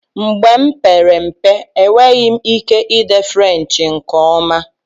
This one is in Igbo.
Mgbe m kpere mpe, enwere m ike ide French nke ọma